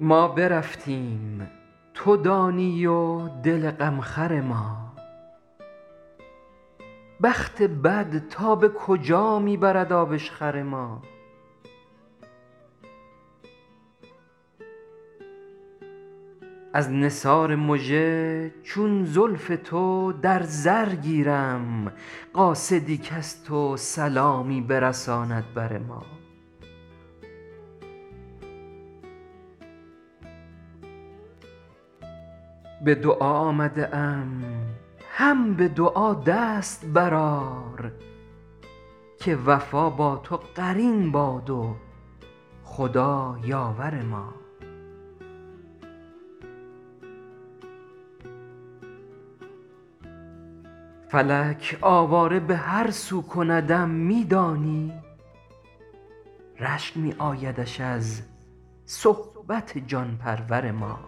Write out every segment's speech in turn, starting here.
ما برفتیم تو دانی و دل غمخور ما بخت بد تا به کجا می برد آبشخور ما از نثار مژه چون زلف تو در زر گیرم قاصدی کز تو سلامی برساند بر ما به دعا آمده ام هم به دعا دست بر آر که وفا با تو قرین باد و خدا یاور ما فلک آواره به هر سو کندم می دانی رشک می آیدش از صحبت جان پرور ما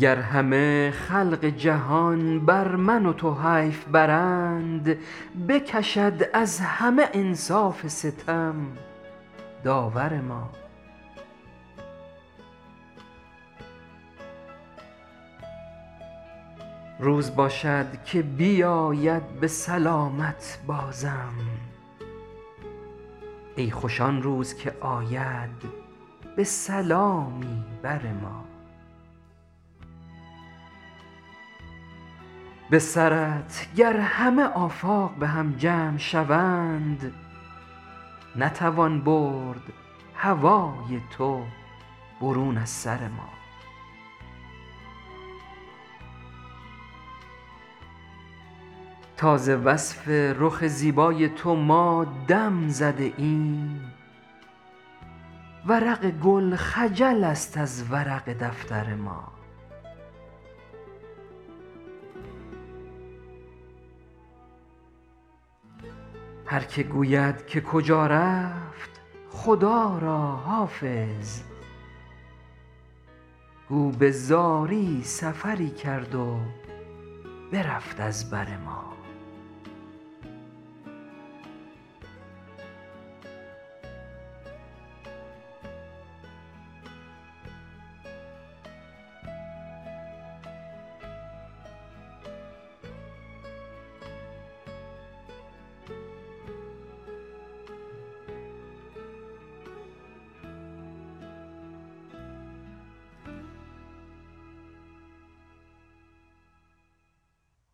گر همه خلق جهان بر من و تو حیف برند بکشد از همه انصاف ستم داور ما روز باشد که بیاید به سلامت بازم ای خوش آن روز که آید به سلامی بر ما به سرت گر همه آفاق به هم جمع شوند نتوان برد هوای تو برون از سر ما تا ز وصف رخ زیبای تو ما دم زده ایم ورق گل خجل است از ورق دفتر ما هر که گوید که کجا رفت خدا را حافظ گو به زاری سفری کرد و برفت از بر ما